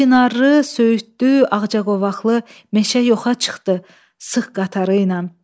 Çinarılı, söyüdlü, ağcaqovaqlı meşə yoxa çıxdı sıx qatarı ilə.